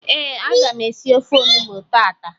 Ee, aga m esi ofe onugbu tata